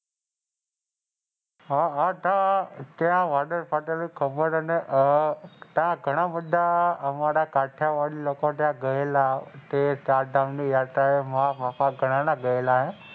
હા હા હા ત્યાં વાદળ ફાટેલું ખબર છે હમ્મ અને ત્યાં ઘણા બાધા એમાં કાઠિયાવાડી લોકો ગયેલા તે ચારધામ ની યાત્રા એ ગયેલા હે.